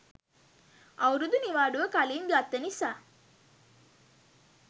අවුරුදු නිවාඩුව කලින් ගත්ත නිසා.